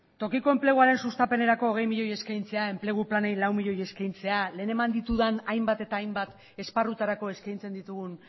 tokiko enpleguaren sustapenerako hogei milioi eskaintzea enplegu planei lau milioi eskaintzea lehen eman ditudan hainbat eta hainbat esparrutarako eskaintzen ditugun